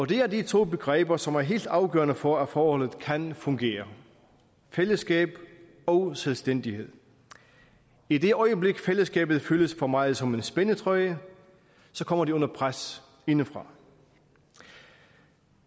det er de to begreber som er helt afgørende for at forholdet kan fungere fællesskab og selvstændighed i det øjeblik fællesskabet føles for meget som en spændetrøje kommer det under pres indefra